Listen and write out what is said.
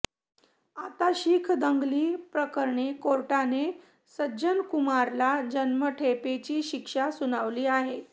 आता शीख दंगली प्रकरणी कोर्टाने सज्जन कुमारला जन्मठेपेची शिक्षा सुनावली आहे